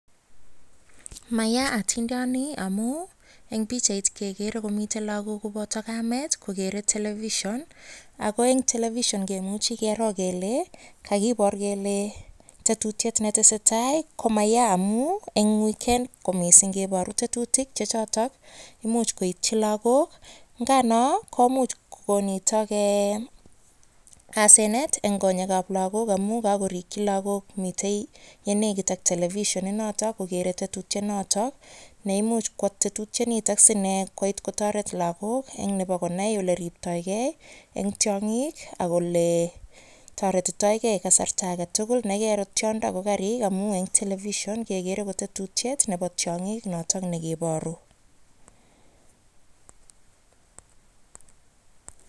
Mayaa atindioni amuun en pichait kekere komiten lokok koboto kamet kokere television ak ko en television kimuchi keroo kelee kokibor kelee tetutiet netesetai ko mayaa amun en weekend ko mising keboru tetutik choton imuch koityi lokok, ng'anoo komuch ko nitok asenet en konyekab lakok ng'amun kakorikyi lakok Mitei yutok mii television inotok kokere tetutyet notok neimuch ko tetutioniton ko iss inee koit kotoret lokok nebo konai eleribtoi kee en tiong'ik ak olee toretitoke kasarta aketukul nekairo tiondo ko karik amuun en television kekere kotetutiet nebo tiong'ik notok nekiboru.